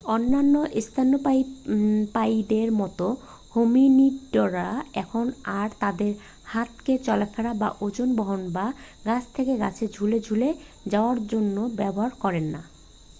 অন্যান্য স্তন্যপায়ীদের মতো হোমিনিডরা এখন আর তাদের হাতকে চলাফেরা বা ওজন বহন বা গাছ থেকে গাছে ঝুলে ঝুলে যাওয়ার জন্য ব্যবহার করে না